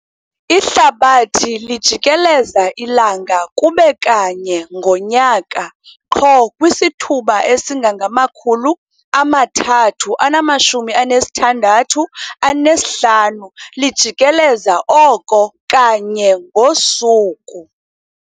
Ihlabathi lijikeleza ilanga, kube kanye ngo"nyaka", qho kwisithuba esingangamawaka ama-365 lijikeleza oko kanye ngo"suku".